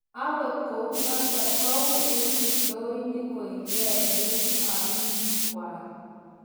Angot kounotok, kou eng kiptoinik koet gee eng amiik kwaak.